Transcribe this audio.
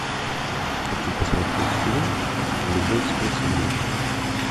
хочу посмотреть фильм любовь сквозь время